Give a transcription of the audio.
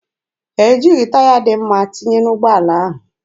Ha ejighị taya dị mma tinye n'ụgbọala ahụ.